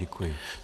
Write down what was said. Děkuji.